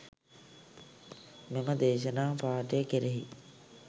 මෙම දේශනා පාඨය කෙරෙහි